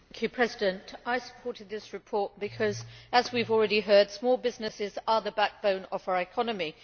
Mr President, I supported this report because as we have already heard small businesses are the backbone of our economy.